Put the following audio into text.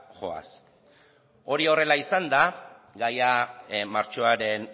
joaz hori horrela izanda gaia martxoaren